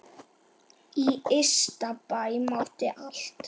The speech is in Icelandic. Í Ystabæ mátti allt.